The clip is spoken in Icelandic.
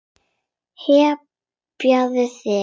Hypjaðu þig.